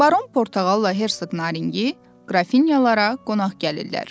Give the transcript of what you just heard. Baron Portağal Hərsıq Narinçi Qrafinyalara qonaq gəlirlər.